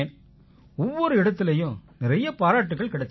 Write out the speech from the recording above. ஒவ்வொரு இடத்திலயும் நிறைய பாராட்டுக்கள் கிடைச்சுது